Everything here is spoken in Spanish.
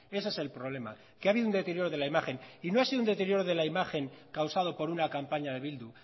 ese es el problema que ha habido un deterioro de la imagen y no ha sido un deterioro de la imagen causado por una campaña de bildu